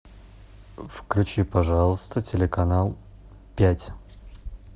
включи пожалуйста телеканал пять